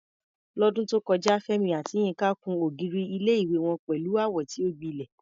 Lọ́dún tó kọjá, Fẹ́mi àti Yinka kùn ògiri ilé-ìwé wọn pẹ̀lú àwọ̀ tí ó gbilẹ̀.